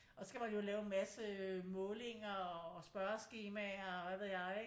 Og så skal man jo lave en masse målinger og spørgeskemaer og hvad ved jeg ikke